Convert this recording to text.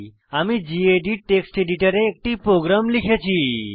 আমি gedit text এডিটরে একটি প্রোগ্রাম লিখেছি